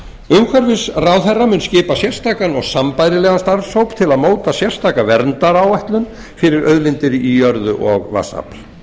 umhverfisráðherra mun skipa sérstakan og sambærilegan starfshóp til að móta sérstaka verndaráætlun fyrir auðlindir í jörðu og vatnsafl